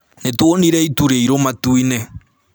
Nĩtuonire itu rĩiruũ matu-inĩ